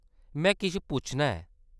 में किश पुच्छना ऐ।